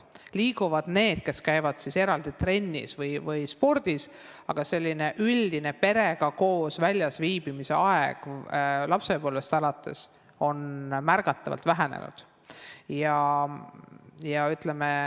Liiguvad need, kes käivad trennis või tegelevad spordiga, aga üldine perega koos väljas viibimise aeg lapsepõlvest alates on märgatavalt vähenenud.